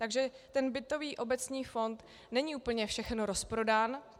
Takže ten bytový obecní fond není úplně všechen rozprodán.